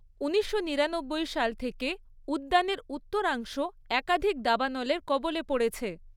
উনিশশো নিরানব্বই সাল থেকে উদ্যানের উত্তরাংশ একাধিক দাবানলের কবলে পড়েছে।